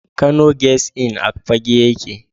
Kano Guest Inn a Fagge yake.